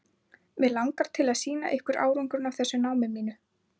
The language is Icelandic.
Mig langar til að sýna ykkur árangurinn af þessu námi mínu.